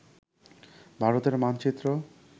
ভারতের মানচিত্র